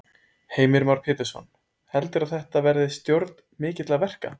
Heimir Már Pétursson: Heldurðu að þetta verði stjórn mikilla verka?